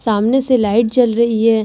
सामने से लाइट जल रही है ।